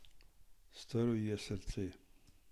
Strl ji je srce.